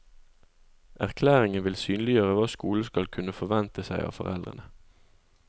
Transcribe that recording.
Erklæringen vil synliggjøre hva skolen skal kunne forvente seg av foreldrene.